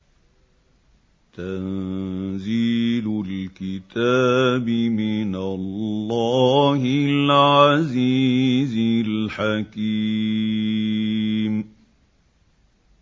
تَنزِيلُ الْكِتَابِ مِنَ اللَّهِ الْعَزِيزِ الْحَكِيمِ